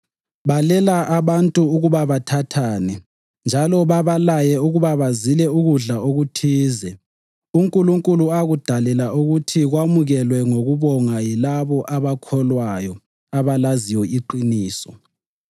Balela abantu ukuba bathathane njalo babalaye ukuba bazile ukudla okuthize, uNkulunkulu akudalela ukuthi kwamukelwe ngokubonga yilabo abakholwayo labalaziyo iqiniso.